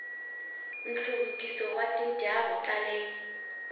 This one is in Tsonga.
nhluvukiso wa tindhawu ta le